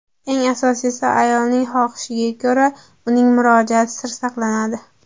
Eng asosiysi, ayolning xohishiga ko‘ra, uning murojaati sir saqlanadi.